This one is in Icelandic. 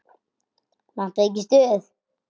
Vantar þig ekki stuð?